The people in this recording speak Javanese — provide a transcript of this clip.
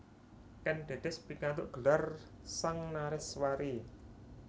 Kèn Dèdès pikantuk gelar Sang Nareswari